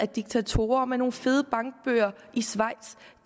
diktatorer med nogle fede bankbøger i schweiz